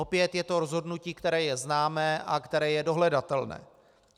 Opět je to rozhodnutí, které je známé a které je dohledatelné.